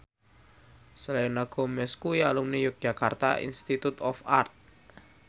Selena Gomez kuwi alumni Yogyakarta Institute of Art